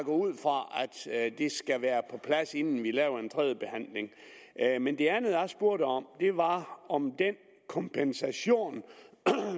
ud fra at det skal være på plads inden vi laver en tredjebehandling men det andet jeg spurgte om var om den kompensation